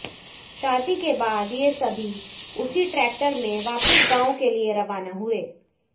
शादी के बाद ये सभी उसी ट्रैक्टर में वापस गांव के लिए रवाना हुए